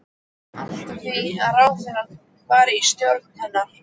Allt að því ráðherra í stjórn hennar!